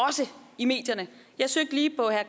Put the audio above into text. i medierne jeg søgte lige på herre